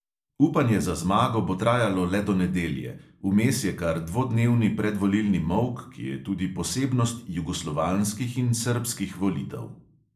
Upanje za zmago bo trajalo le do nedelje – vmes je kar dvodnevni predvolilni molk, ki je tudi posebnost jugoslovanskih in srbskih volitev.